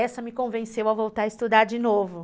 Essa me convenceu a voltar a estudar de novo.